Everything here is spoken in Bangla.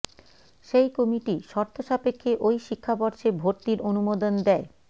সেই কমিটি শর্ত সাপেক্ষে ওই শিক্ষাবর্ষে ভর্তির অনুমোদন দেয়